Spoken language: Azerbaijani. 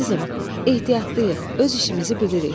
Əzizim, ehtiyatlıyıq, öz işimizi bilirik.